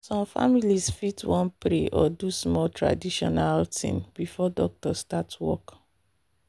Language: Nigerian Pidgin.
some families fit wan pray or do small traditional thing before doctor start work.